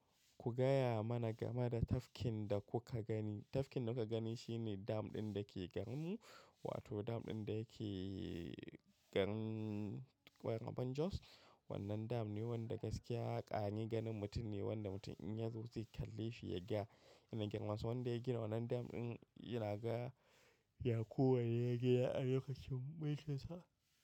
Ku gaya mana game da tafkin da kuka gani. Tafkin da kuka gani shine dam ɗin da ke garinmu, wato dam ɗin da yake garin Mararraban Jos. Wannan dam ne wanda gaskiya ƙare ganin mutum ne wanda mutum in ya zo zai kalle shi ya gaya yanayin girmansa. Wanda ya gina wannan dam ɗin yana ga Yakowa ne ya gina a lokacin mulkin sa.